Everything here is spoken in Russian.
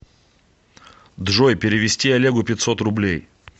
джой перевести олегу пятьсот рублей